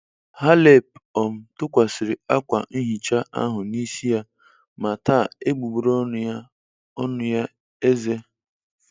Halep um tụkwasịrị akwa nhicha ahụ n'isi ya ma taa egbugbere ọnụ ya ọnụ ya eze